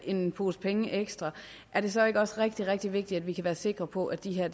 en pose penge ekstra er det så ikke også rigtig rigtig vigtigt at vi kan være sikre på at de her